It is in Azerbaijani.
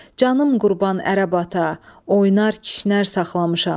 Canım qurban ərəb ata, oynar kişnər saxlamışam.